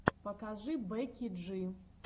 покажи бекки джи